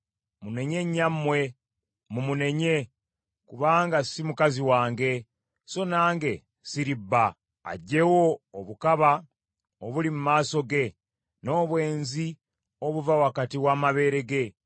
Munenye nnyammwe, mumunenye, kubanga si mukazi wange, so nange siri bba. Aggyewo obukaba obuli mu maaso ge, n’obwenzi obuva wakati w’amabeere ge;